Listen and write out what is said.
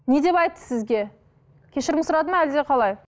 не деп айтты сізге кешірім сұрады ма әлде қалай